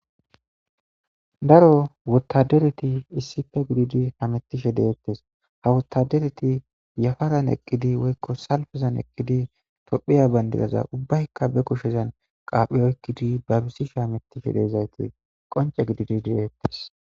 daro wutadereti issife gididi hamettishe deettes ha wutadereti yafaran eqqidi woykko salfazan eqqidi tophiya bayndidaza ubbaykka be kushezan qaaphi oykkidi babisishe hamettishe deezaytoy qonce gididi deeettes